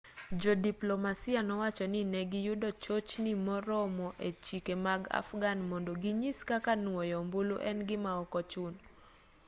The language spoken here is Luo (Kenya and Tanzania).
jodiplomasia nowacho ni negiyudo chochni moromo e chike mag afghan mondo ginyis kaka nuoyo ombulu en gima okochuno